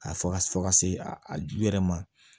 A fɔ ka fɔ ka se a yɛrɛ ma